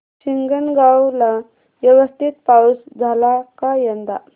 हिंगणगाव ला व्यवस्थित पाऊस झाला का यंदा